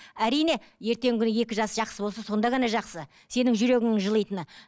әрине ертеңгі күні екі жас жақсы болса сонда ғана жақсы сенің жүрегіңнің жылитыны